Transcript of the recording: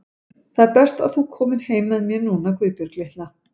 Það er best þú komir heim með mér núna, Guðbjörg litla.